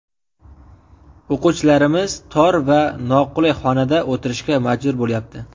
O‘quvchilarimiz tor va noqulay xonada o‘tirishga majbur bo‘lyapti.